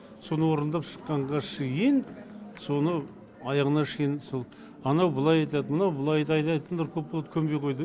соны орындап шыққанға шейін соны аяғына шейін сол анау былай айтады мынау былай айтатындар көп болды көнбей қойды